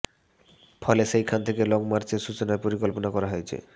ফলে সেই খান থেকে লঙ মার্চের সূচনার পরিকল্পনা করা হয়েছে